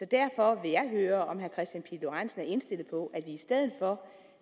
derfor vil jeg høre om herre kristian pihl lorentzen er indstillet på at i stedet for